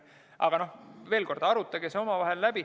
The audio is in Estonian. Aga veel kord: arutage see omavahel läbi.